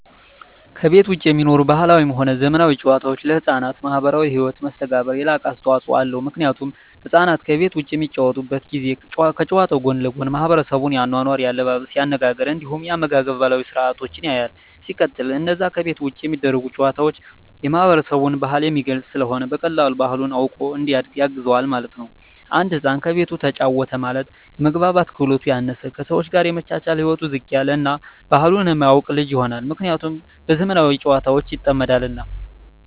ከቤት ዉጪ የሚኖሩ ባህላዊም ሆነ ዘመናዊ ጨዋታወች ለሕፃናት ማህበራዊ ህይወት መስተጋብር የላቀ አስተዋጾ አለዉ ምክንያቱም ህፃናት ከቤት ዉጪ በሚጫወቱበት ጊዜ ከጨዋታዉ ጎን ለጎን የማሕበረሰቡን የአኗኗር፣ የአለባበስ፤ የአነጋገር እንዲሁም የአመጋገብ ባህላዊ ስርአቶችን ያያል። ሲቀጥል አነዛ ከቤት ዉጪ የሚደረጉ ጨዋታወች የማህበረሰብን ባህል የሚገልጽ ስለሆነ በቀላሉ ባህሉን አዉቆ እንዲያድግ ያግዘዋል ማለት ነዉ። አንድ ህፃን ከቤቱ ተጫወተ ማለት የመግባባት ክህሎቱ ያነሰ፣ ከሰወች ጋር የመቻቻል ህይወቱ ዝቅ ያለ እና ባህሉን የማያቅ ልጅ ይሆናል። ምክንያቱም በዘመናዊ ጨዋታወች ይጠመዳልና።